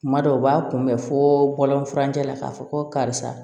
Kuma dɔw u b'a kunbɛ fo bɔlɔn furancɛ la k'a fɔ ko karisa